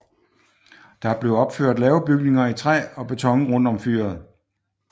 Der blev opført lave bygninger i træ og beton rundt om fyret